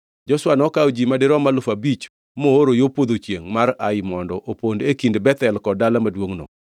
Joshua nokawo ji madirom alufu abich mooro yo podho chiengʼ mar Ai mondo opond e kind Bethel kod dala maduongʼno.